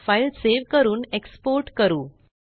file save करून export करू